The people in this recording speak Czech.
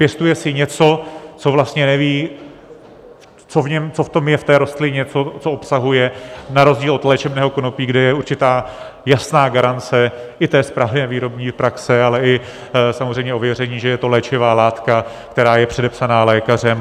Pěstuje si něco, co vlastně neví, co v tom je, v té rostlině, co obsahuje, na rozdíl od léčebného konopí, kde je určitá jasná garance i té správné výrobní praxe, ale i samozřejmě ověření, že je to léčivá látka, která je předepsaná lékařem.